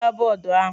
Hichaa bọọdụ ahụ!